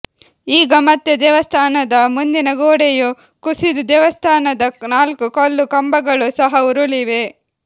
ಈಗ ಮತ್ತೆ ದೇವಸ್ಥಾನದ ಮುಂದಿನ ಗೋಡೆಯು ಕುಸಿದು ದೇವಸ್ಥಾನದ ನಾಲ್ಕು ಕಲ್ಲು ಕಂಬಗಳು ಸಹ ಉರುಳಿವೆ